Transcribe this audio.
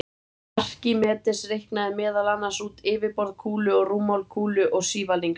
Arkímedes reiknaði meðal annars út yfirborð kúlu og rúmmál kúlu og sívalnings.